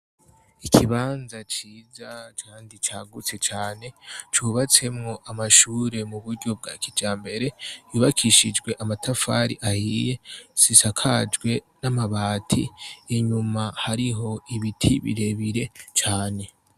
Ikibanza ciza kandi cagutse cane cubatsemwo amashure mu buryo bwa kijambere, yubakishijwe amatafari ahiye, zisakajwe n'amabati. Inyuma hariho ibiti birebire cane.